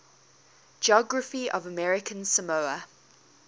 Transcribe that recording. geography of american samoa